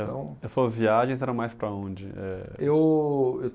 A as suas viagens eram mais para onde? Eh. Eu